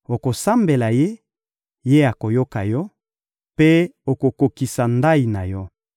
Okosambela Ye, Ye akoyoka yo, mpe okokokisa ndayi na yo.